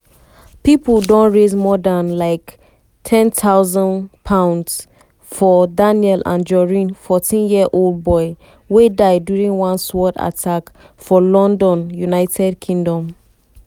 pipo don raise more dan um £10000 for daniel anjorin 14-year-old boy wey die during one sword attack for london united kingdom.